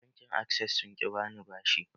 Bankin access sun ƙi bani bashin